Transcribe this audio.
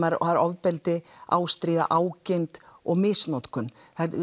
er ofbeldi ástríða ágirnd og misnotkun